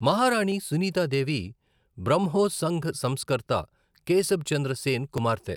మహారాణి సునీతి దేవి బ్రహ్మో సంఘ సంస్కర్త కేశబ్ చంద్ర సేన్ కుమార్తె.